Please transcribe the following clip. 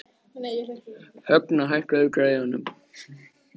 Högna, hækkaðu í græjunum.